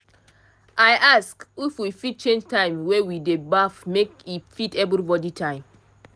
i ask if we fit change time wey we dey baff make e fit everybody time